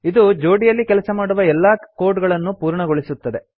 ಇದು ಜೋಡಿಯಲ್ಲಿ ಕೆಲಸ ಮಾಡುವ ಎಲ್ಲಾ ಕೋಡ್ ಗಳನ್ನೂ ಪೂರ್ಣಗೊಳಿಸುತ್ತದೆ